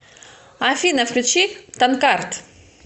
афина включи танкард